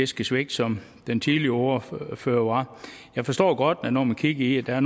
skal svigte som den tidligere ordfører ordfører var jeg forstår godt at der når man kigger